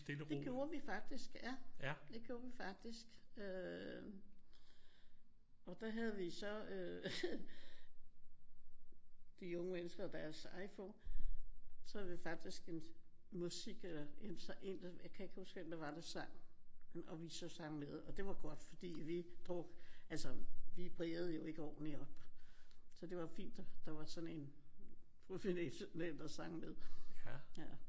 Det gjorde vi faktisk ja. Det gjorde vi faktisk øh og der havde vi så øh de unge mennesker og deres iPhone. Så havde vi faktisk en musik eller en der jeg kan ikke huske hvem det var der sang og vi så sang med. Og det var godt fordi altså vi brægede jo ikke ordenligt og så det var fint at der var sådan en professionel der sang med